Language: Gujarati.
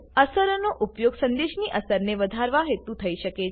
અસરોનો ઉપયોગ સંદેશની અસરને વધારવા હેતુ થઇ શકે છે